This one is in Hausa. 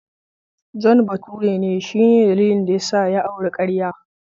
John bature ne, shi ne dalilin da ya sa ya auri karya.